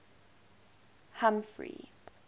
humphrey